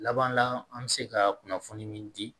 Laban la an bɛ se ka kunnafoni min di